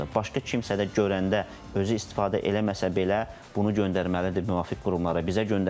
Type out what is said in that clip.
Başqa kimsə də görəndə özü istifadə eləməsə belə bunu göndərməlidir müvafiq qurumlara, bizə göndərə bilər.